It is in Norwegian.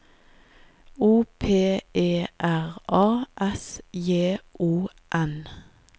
O P E R A S J O N